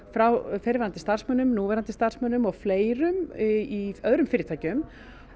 frá fyrrverandi starfsmönnum núverandi starfsmönnum og fleirum í öðrum fyrirtækjum